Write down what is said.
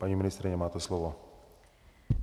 Paní ministryně, máte slovo.